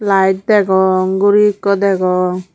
light degong guri eko degong.